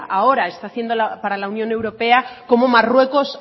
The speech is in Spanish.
ahora está haciendo para la unión europea cómo marruecos